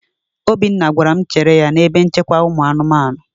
Obinna gwara m chere ya n'ebe nchekwa ụmụ anụmanụ.